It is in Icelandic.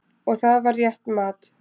Og það var rétt mat.